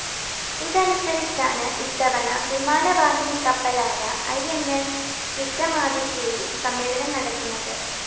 ഇതനുസരിച്ചാണ് ഇത്തവണ വിമാനവാഹിനിക്കപ്പലായ I N S വിക്രമാദിത്യയില്‍ സമ്മേളനം നടക്കുന്നത്